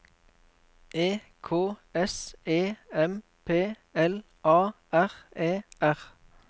E K S E M P L A R E R